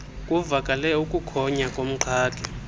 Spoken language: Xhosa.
kuvakale ukukhonya komqhagi